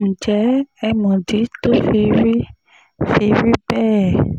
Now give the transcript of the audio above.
ǹjẹ́ ẹ mọ̀dí tó fi rí fi rí bẹ́ẹ̀